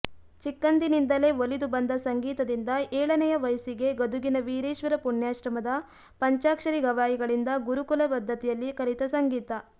ಚಿಕ್ಕಂದಿನಿಂದಲೇ ಒಲಿದು ಬಂದ ಸಂಗೀತದಿಂದ ಏಳನೆಯ ವಯಸ್ಸಿಗೇ ಗದುಗಿನ ವೀರೇಶ್ವರ ಪುಣ್ಯಾಶ್ರಮದ ಪಂಚಾಕ್ಷರಿ ಗವಾಯಿಗಳಿಂದ ಗುರುಕುಲ ಪದ್ಧತಿಯಲ್ಲಿ ಕಲಿತ ಸಂಗೀತ